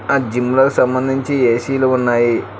ఆ జిమ్ లో సంబంధించి ఏ_సీ లు ఉన్నాయి.